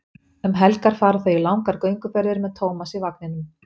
Um helgar fara þau í langar gönguferðir með Tómas í vagninum.